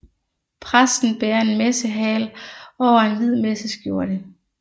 Præsten bærer en messehagel over en hvid messeskjorte